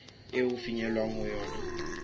eo ho fihlwang ho yona